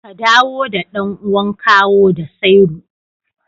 Ka dawo da ɗan'uwan kawo da sairu